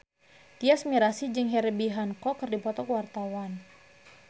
Tyas Mirasih jeung Herbie Hancock keur dipoto ku wartawan